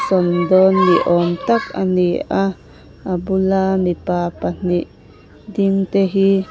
sawn dawn ni awm tak a ni a a bula mipa ding pahnih te hi --